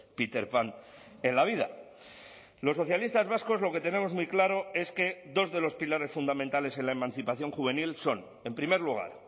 peter pan en la vida los socialistas vascos lo que tenemos muy claro es que dos de los pilares fundamentales en la emancipación juvenil son en primer lugar